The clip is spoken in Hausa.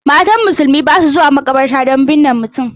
Matan musulmai ba su zuwa makabarta don bunne mutum